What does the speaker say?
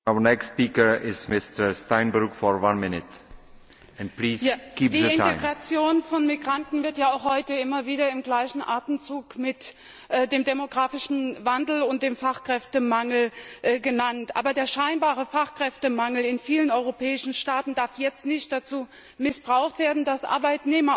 Herr Präsident! Die Integration von Migranten wird ja auch heute immer wieder im gleichen Atemzug mit dem demografischen Wandel und dem Fachkräftemangel genannt. Aber der scheinbare Fachkräftemangel in vielen europäischen Staaten darf jetzt nicht dazu missbraucht werden, dass Arbeitnehmer aus Drittstaaten